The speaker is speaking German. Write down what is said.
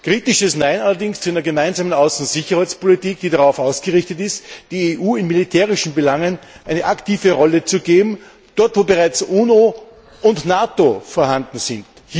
Ein kritisches Nein allerdings zu einer Gemeinsamen Außen und Sicherheitspolitik, die darauf ausgerichtet ist, der EU in militärischen Belangen eine aktive Rolle zu geben, dort, wo bereits UNO und NATO vorhanden sind.